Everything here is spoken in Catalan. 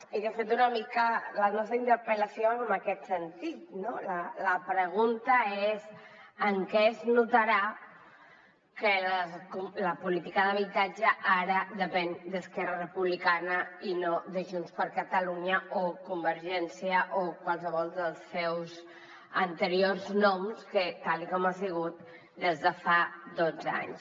i de fet una mica la nostra interpel·lació va en aquest sentit no la pregunta és en què es notarà que la política d’habitatge ara depèn d’esquerra republicana i no de junts per catalunya o convergència o qualsevol dels seus anteriors noms tal com ha sigut des de fa dotze anys